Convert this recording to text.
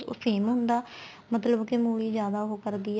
ਉਹ same ਹੁੰਦਾ ਮਤਲਬ ਕੀ ਮੂਲੀ ਜਿਆਦਾ ਉਹ ਕਰਦੀ ਏ